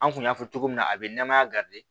An kun y'a fɔ cogo min na a be namaya